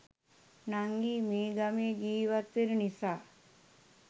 නංගි මේ ගමේ ජීවත් වෙන නිසා